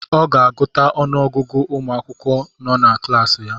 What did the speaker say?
Ọ ga-agụta ọnụ ọgụgụ ụmụ akwụkwọ nọ na klaasị ya